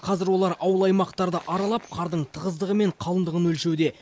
қазір олар ауыл аймақтарды аралап қардың тығыздығы мен қалыңдығын өлшеуде